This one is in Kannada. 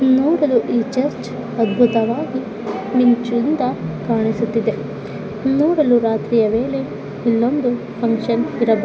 ನೋಡಲು ಈ ಚರ್ಚ್ ಅಧ್ಬುತವಾಗಿ ಮಿಂಚಿನಿಂದ ಕಾಣಿಸುತ್ತಿದೆ. ನೋಡಲು ರಾತ್ರಿಯ ವೇಳೆ ಇಲ್ಲೊಂದು ಫಂಕ್ಷನ್ ಇರಬಹ --